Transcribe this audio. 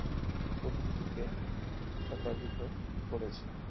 করেছে